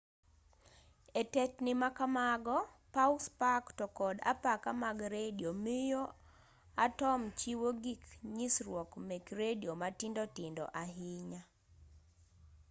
e tetni ma kamago paw spak to kod apaka mag redio miyo atom chiwo gik nyisruok mek redio matindo tindo ahinya